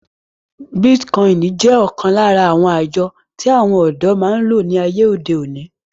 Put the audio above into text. Bítíkọìnì jẹ́ ọ̀kán lára àwọn àjọ tí àwọn ọ̀dọ́ máa ń lò ní àyè òde òní